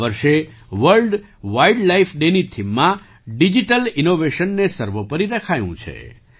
આ વર્ષે world wildlife ડેની થીમમાં ડિજિટલ ઇન્નૉવેશનને સર્વોપરિ રખાયું છે